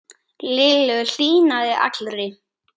Lillu hlýnaði allri.